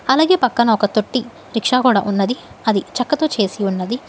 అలాగే పక్కన ఒక తొట్టి రిక్షా కూడా ఉన్నది అది చెక్కతో చేసి ఉన్నది.